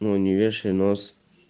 ну не вешай нос